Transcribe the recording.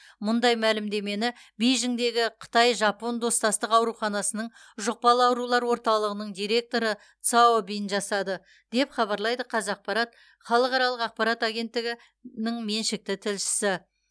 мұндай мәлімдемені бейжіңдегі қытай жапон достастық ауруханасының жұқпалы аурулар орталығының директоры цао бинь жасады деп хабарлайды қазақпарат халықаралық ақпарат агенттігі меншікті тілшісі